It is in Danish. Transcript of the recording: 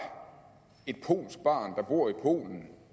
et polsk barn der bor i polen